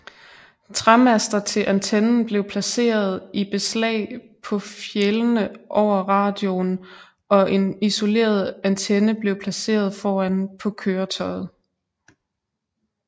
Træmaster til antennen blev placeret i beslag på fjælene over radioen og en isoleret antenne blev placeret foran på køretøjet